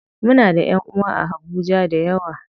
Muna da ƴanʼuwa a habuja dayawa.